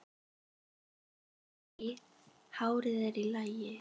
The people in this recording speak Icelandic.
Nei, hárið er í lagi.